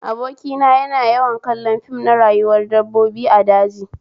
Abokina yana yawan kallon fim na rayuwar dabbobi a daji